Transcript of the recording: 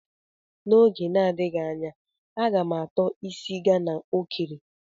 N'oge na-adịghị anya,a ga m ato isi Ghana o kere.